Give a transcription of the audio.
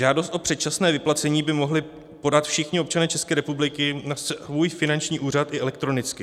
Žádost o předčasné vyplacení by mohli podat všichni občané České republiky na svůj finanční úřad i elektronicky.